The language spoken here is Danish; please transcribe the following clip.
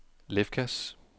Lefkas